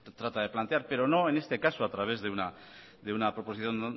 trata de plantear pero no en este caso a través de una proposición